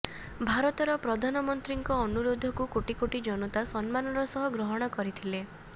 ଭାରତର ପ୍ରଧାନମନ୍ତ୍ରୀଙ୍କ ଅନୁରୋଧକୁ କୋଟିକୋଟି ଜନତା ସମ୍ମାନର ସହ ଗ୍ରହଣ କରିଥିଲେ